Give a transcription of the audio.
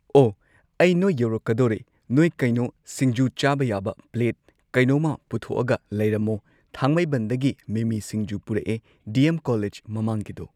ꯑꯣ ꯑꯩ ꯅꯣꯏ ꯌꯧꯔꯛꯀꯗꯧꯔꯦ ꯅꯣꯏ ꯀꯩꯅꯣ ꯁꯤꯡꯖꯨ ꯆꯥꯕ ꯌꯥꯕ ꯄ꯭ꯂꯦꯠ ꯀꯩꯅꯣꯃ ꯄꯨꯊꯣꯛꯑꯒ ꯂꯩꯔꯝꯃꯣ ꯊꯥꯡꯃꯩꯕꯟꯗꯒꯤ ꯃꯤꯃꯤ ꯁꯤꯡꯖꯨ ꯄꯨꯔꯛꯑꯦ ꯗꯤ ꯑꯦꯝ ꯀꯣꯂꯦꯖ ꯃꯃꯥꯡꯒꯤꯗꯣ